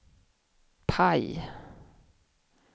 PIE